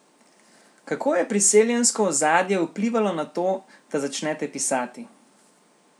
Kako je priseljensko ozadje vplivalo na to, da začnete pisati?